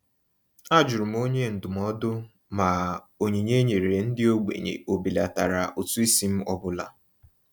A jụrụ m onye ndụmọdụ ma onyinye e nyere ndị ogbenye ọbelatara ụtụisi m ọ bụla.